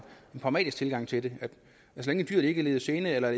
pragmatisk tilgang til det så længe dyret ikke lider gene eller